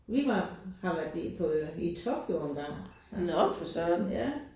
Vi var har været i på øh i Tokyo engang. Ja